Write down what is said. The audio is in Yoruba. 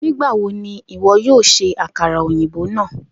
Nigbawo ni iwọ yoo ṣe akara oyinbo naa?